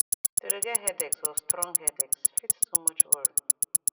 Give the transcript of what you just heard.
to de get headaches or strong headaches fit too much worry